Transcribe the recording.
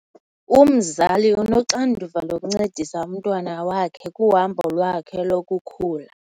Umzali unoxanduva lokuncedisa umntwana wakhe kuhambo lwakhe lokukhula.